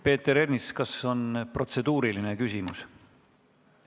Peeter Ernits, kas on protseduuriline küsimus?